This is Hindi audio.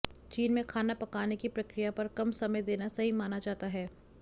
चीन में खाना पकाने की प्रक्रिया पर कम समय देना सही माना जाता है